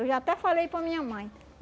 Eu já até falei para minha mãe.